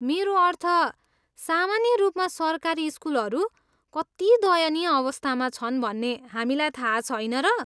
मेरो अर्थ, सामान्य रूपमा सरकारी स्कुलहरू कति दयनीय अवस्थामा छन् भन्ने हामीलाई थाहा छैन र?